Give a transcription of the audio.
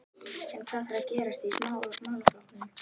En hvað þarf að gerast í málaflokknum?